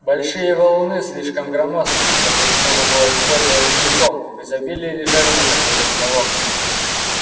большие валуны слишком громоздкие чтобы их можно было использовать целиком в изобилии лежали на краю каменоломни